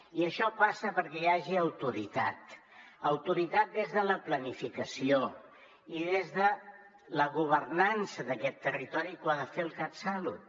i això passa perquè hi hagi autoritat autoritat des de la planificació i des de la governança d’aquest territori que ho ha de fer el catsalut